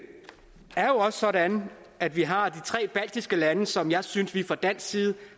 er også sådan at vi har de tre baltiske lande som jeg synes vi fra dansk side